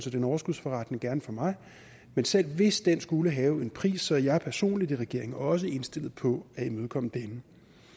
er en overskudsforretning gerne for mig men selv hvis den skulle have en pris er jeg personligt i regeringen også indstillet på at imødekomme denne